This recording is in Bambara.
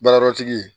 Baarayɔrɔtigi